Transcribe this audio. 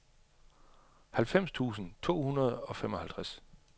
halvfems tusind to hundrede og femoghalvtreds